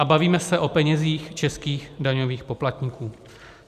A bavíme se o penězích českých daňových poplatníků.